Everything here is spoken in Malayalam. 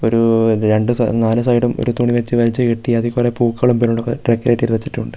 ഒരു രണ്ടു-സ നാലു സൈഡും ഒരു തുണി വലിച്ച് വലിച്ച് കെട്ടി അതിൽ കൊറേ പൂക്കളും ഡെക്കറേറ്റ് ചെയ്തു വെച്ചിട്ടുണ്ട്.